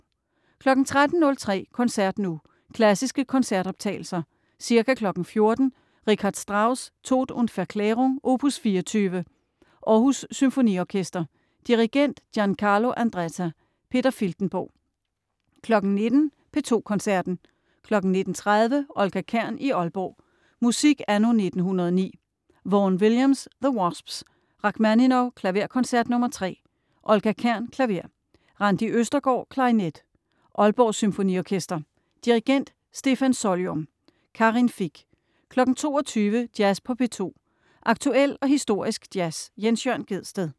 13.03 Koncert nu. Klassiske koncertoptagelser. Ca. 14.00 Richard Strauss: Tod und Verklärung, opus 24. Aarhus Symfoniorkester. Dirigent: Giancarlo Andretta. Peter Filtenborg. 19.00 P2 Koncerten. 19.30 Olga Kern i Aalborg. Musik anno 1909. Vaughan Williams: The Wasps. Rakhmaninov: Klaverkoncert nr. 3. Olga Kern, klaver. Randi Østergård, klarinet. Aalborg Symfoniorkester. Dirigent: Stefan Solyom. Karin Fich. 22.00 Jazz på P2. Aktuel og historisk jazz. Jens Jørn Gjedsted